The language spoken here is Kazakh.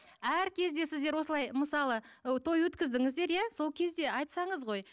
әр кезде сіздер осылай мысалы ы той өткіздіңіздер иә сол кезде айтсаңыз ғой